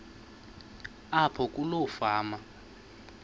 apho kuloo fama